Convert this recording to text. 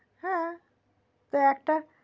টা একটা হ্যা